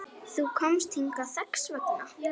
Þú komst hingað þess vegna.